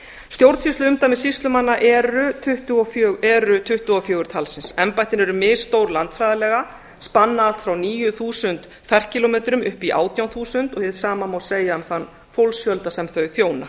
stjórnsýsluumdæmi sýslumanna eru tuttugu og fjögur talsins embættin eru misstór landfræðilega spanna allt frá níu þúsund ferkílómetrum upp í átján þúsund og hið sama má segja um þann fólksfjölda sem þau þjóna